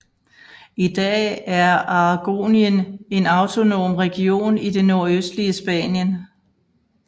I dag er Aragonien en autonom region i det nordøstlige Spanien